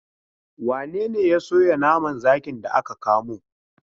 Wane ne ya soya naman zakin da aka kamo?